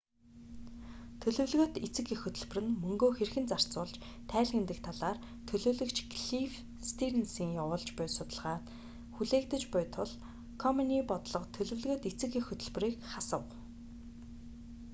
төлөвлөгөөт эцэг эх хөтөлбөр нь мөнгөө хэрхэн зарцуулж тайлагнадаг талаар төлөөлөгч клифф стийрнсийн явуулж буй судалгаа хүлээгдэж буй тул комений бодлого төлөвлөгөөт эцэг эх хөтөлбөрийг хасав